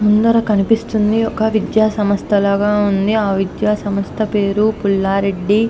ముందర కనిపిస్తుంది ఒక విద్యాసంస్థ లాగా ఉంది. ఆ విద్యాసంస్థ పేరు పుల్ల రెడ్డి--